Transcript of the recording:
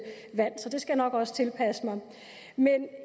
så det skal jeg nok også tilpasse mig men